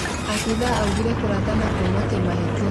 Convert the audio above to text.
Abithaa augire kũrathana kuma kĩmahĩtia